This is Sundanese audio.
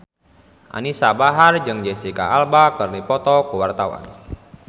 Anisa Bahar jeung Jesicca Alba keur dipoto ku wartawan